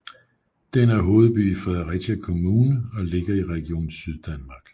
Den er hovedby i Fredericia Kommune og ligger i Region Syddanmark